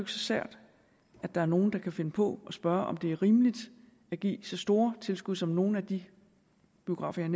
så sært at der er nogen der kan finde på at spørge om hvorvidt det er rimeligt at give så store tilskud som nogle af de biografer jeg